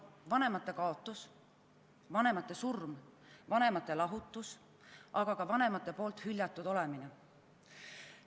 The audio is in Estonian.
Vanemate kaotus, vanemate surm, vanemate lahutus, aga ka vanemate poolt hüljatud olemine.